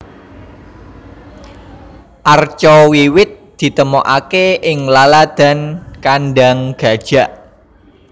Arca wiwit ditemokaké ing laladan Kandang Gajak